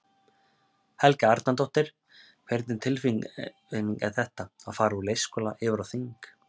Helga Arnardóttir: Hvernig tilfinning er þetta, að fara úr leikskóla yfir á þing?